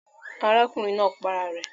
Arákùnrin naa pa ara rè